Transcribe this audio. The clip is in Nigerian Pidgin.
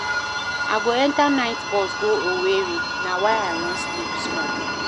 I go enta night bus go Owerri na why I wan sleep small.